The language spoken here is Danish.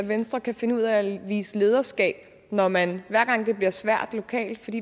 at venstre kan finde ud af at vise lederskab når man hver gang det bliver svært lokalt